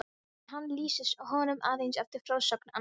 En hann lýsir honum aðeins eftir frásögn annarra.